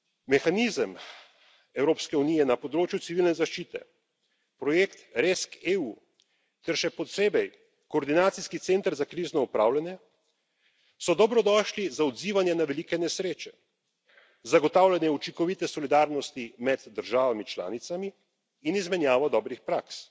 Mehanizem Evropske unije na področju civilne zaščite, projekt RescEU, ter še posebej koordinacijski center za krizno upravljanje, so dobrodošli za odzivanje na velike nesreče, zagotavljanje učinkovite solidarnosti med državami članicami in izmenjavo dobrih praks.